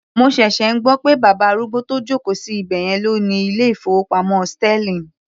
Mo ṣẹ̀ṣẹ̀ ń gbọ́ pé bàbá arúgbó tó joko sí ibẹ̀yẹn ló ni ilé ìfowópamọ́ sterling.